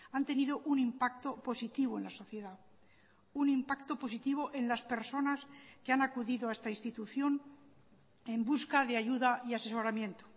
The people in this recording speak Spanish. han tenido un impacto positivo en la sociedad un impacto positivo en las personas que han acudido a esta institución en busca de ayuda y asesoramiento